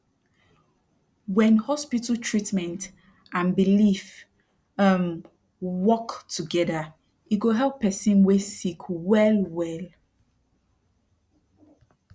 wen hospital treatment and belief um work togeda e go help person wey sick well well